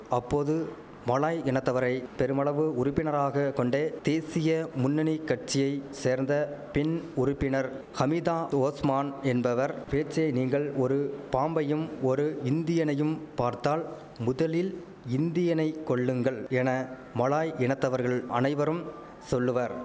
அப்போது மலாய் இனத்தவரை பெருமளவு உறுப்பினராக கொண்ட தேசிய முன்னணி கட்சியை சேர்ந்த பெண் உறுப்பினர் ஹமிதா ஓஸ்மான் என்பவர் பேச்சை நீங்கள் ஒரு பாம்பையும் ஒரு இந்தியனையும் பார்த்தால் முதலில் இந்தியனை கொல்லுங்கள் என மலாய் இனத்தவர்கள் அனைவரும் சொல்லுவர்